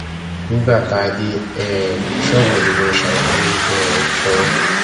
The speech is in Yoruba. nígbà tá a dé um ṣọọbù ni mo ṣàlàyé um fún un